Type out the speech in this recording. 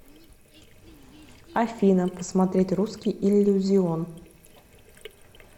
афина посмотреть русский иллюзион